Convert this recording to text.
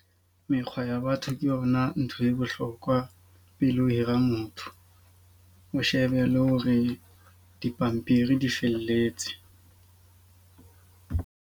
Mekgwa ya batho ke yona ntho e bohlokwa pele ho hira motho. O shebe le hore dipampiri di felletse.